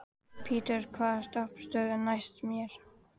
Petter, hvaða stoppistöð er næst mér?